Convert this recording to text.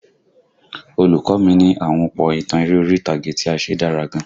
Olùkọ́ mi ní àhunpọ̀ ìtàn eré orí ìtàgé tí a ṣe dára gan